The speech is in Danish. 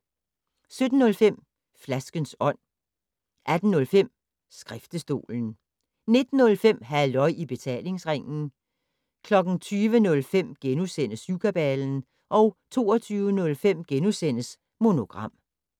17:05: Flaskens Ånd 18:05: Skriftestolen 19:05: Halløj i Betalingsringen 20:05: Syvkabalen * 22:05: Monogram *